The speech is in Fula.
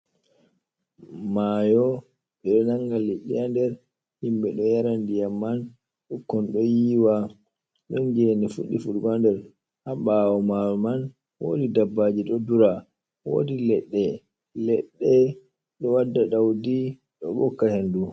Mayo, ɓeɗo nanga liɗɗi ha nder himbe do yara ndiyam man bikkon do yiwa don gene fuddi fudugo ha nder ha bawo mayo man wodi dabbaji do dura wodi ledde ledde do wadda daudi do bokka hendu.